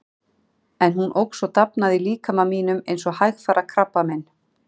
En hún óx og dafnaði í líkama mínum eins og hægfara krabbamein.